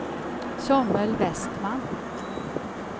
Samuel Vestman